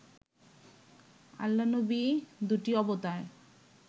আল্লা-নবি দুটি অবতার